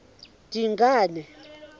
dingane